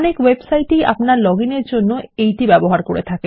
অনেক ওয়েবসাইট ই আপনার লগ ইন এর জন্য এটি ব্যবহার করে